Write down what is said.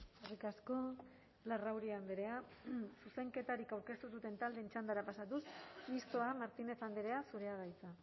eskerrik asko larrauri andrea zuzenketarik aurkeztu ez duten taldeen txandara pasatuz mistoa martínez andrea zurea da hitza